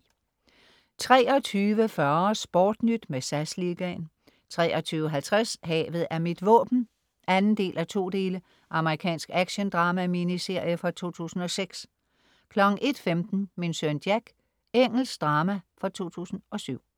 23.40 SportNyt med SAS Liga 23.50 Havet er mit våben 2:2 Amerikansk actiondrama-miniserie fra 2006 01.15 Min søn Jack. Engelsk drama fra 2007